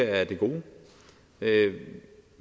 jeg er det gode ved det